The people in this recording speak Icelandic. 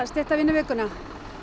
stytta vinnuvikuna